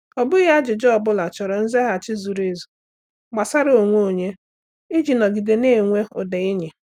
Ọ bụghị ajụjụ ọ bụla chọrọ nzaghachi zuru ezu gbasara onwe onye iji nọgide na-enwe ụda enyi.